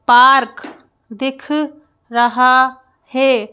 Park दिख रहा है।